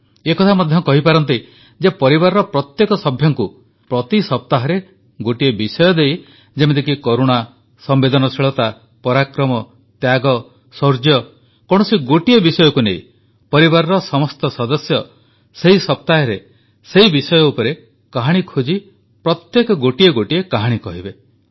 ଏ କଥା ମଧ୍ୟ କରିପାରନ୍ତି ଯେ ପରିବାରର ପ୍ରତ୍ୟେକ ସଭ୍ୟଙ୍କୁ ପ୍ରତି ସପ୍ତାହରେ ଗୋଟିଏ ବିଷୟ ଦେଇ ଯେମିତିକି କରୁଣା ସମ୍ବେଦନଶୀଳତା ପରାକ୍ରମ ତ୍ୟାଗ ଶୌର୍ଯ୍ୟ କୌଣସି ଗୋଟିଏ ବିଷୟକୁ ନେଇ ପରିବାରର ସମସ୍ତ ସଦସ୍ୟ ସେହି ସପ୍ତାହରେ ସେହି ବିଷୟ ଉପରେ କାହାଣୀ ଖୋଜି ପ୍ରତ୍ୟେକେ ଗୋଟିଏ ଗୋଟିଏ କାହାଣୀ କହିବେ